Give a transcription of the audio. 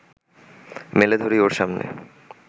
মেলে ধরি ওর সামনে